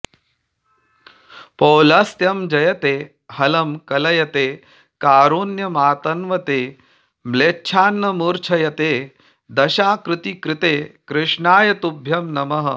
पौलस्त्यं जयते हलं कलयते कारुण्यमातन्वते म्लेच्छान्मूर्च्छयते दशाकृतिकृते कृष्णाय तुभ्यं नमः